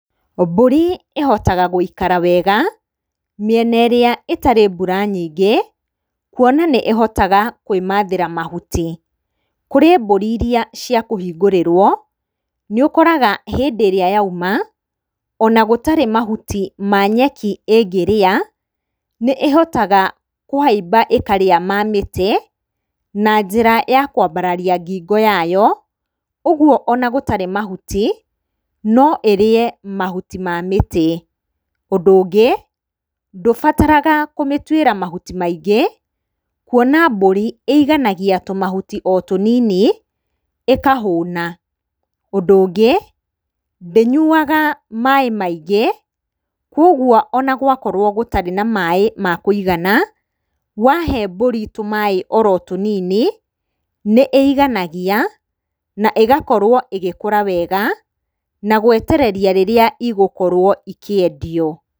Mbũri ĩhotaga gũikara wega mĩena ĩrĩa ĩtarĩ mbura nyingĩ, kuona atĩ nĩ ĩhotaga kwĩmathĩra mahuti. Kũrĩ mbũri irĩa ciakũhingũrĩrwo, nĩũkoraga hĩndĩ ĩrĩa yauma, ona gũtarĩ mahuti ma nyeki ĩngĩrĩa, nĩ ĩhotaga kũhaimba ĩkarĩa ma mĩtĩ na njĩra ya kwambararia ngingo yayo, ũguo ona gũtarĩ mahuti, no ĩrĩe mahuti ma mĩtĩ. Ũndũ ũngĩ, ndũbataraga kũmĩtuĩra mahuti maingĩ, kuona atĩ mbũri ĩiganagia tũmahuti o tũnini, ĩkahũna. Ũndũ ũngĩ, ndĩnyuaga maaĩ maingĩ, koguo onagwakorwo gũtarĩ na maaĩ makũigana, wahe mbũri tũmaaĩ oro tũnini, nĩ ĩiganagia na ĩgakorwo ĩgĩkũra wega, na gwetereria rĩrĩa igũkorwo ikĩendio.